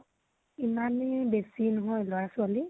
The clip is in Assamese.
ইমানো বেছি নহয় লৰা ছোৱালী।